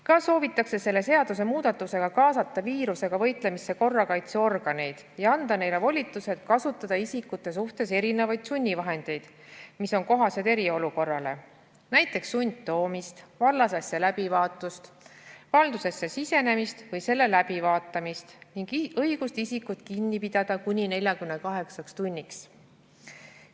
Ka soovitakse selle seadusemuudatusega kaasata viirusega võitlemisse korrakaitseorganeid ja anda neile volitused kasutada isikute suhtes erinevaid sunnivahendeid, mis on kohased eriolukorrale, näiteks sundtoomist, vallasasja läbivaatust, valdusesse sisenemist või selle läbivaatamist ning õigust isikut kinni pidada kuni 48 tunniks.